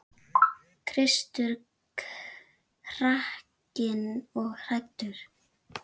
Kristur hrakinn og hæddur.